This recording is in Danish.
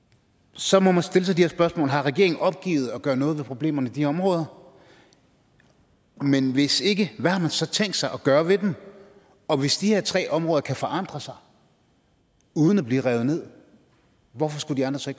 så må man stille sig de her spørgsmål har regeringen opgivet at gøre noget ved problemerne i de områder men hvis ikke hvad har man så tænkt sig at gøre ved dem og hvis de her tre områder kan forandre sig uden at blive revet ned hvorfor skulle de andre så